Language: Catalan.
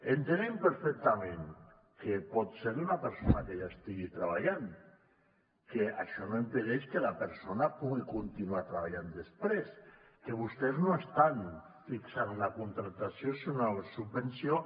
entenem perfectament que pot ser d’una persona que ja estigui treballant que això no impedeix que la persona pugui continuar treballant després que vostès no estan fixant una contractació sinó una subvenció